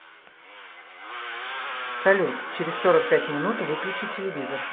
салют через сорок пять минут выключи телевизор